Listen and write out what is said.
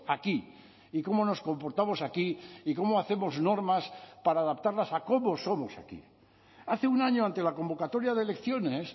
aquí y cómo nos comportamos aquí y cómo hacemos normas para adaptarlas a cómo somos aquí hace un año ante la convocatoria de elecciones